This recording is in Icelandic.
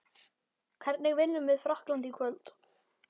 Hvernig vinnum við Frakkland í kvöld?